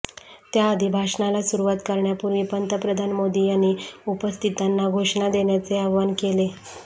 त्याआधी भाषणाला सुरुवात करण्यापूर्वी पंतप्रधान मोदी यांनी उपस्थितांना घोषणा देण्याचे आवाहन केले